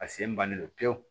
A sen bannen pewu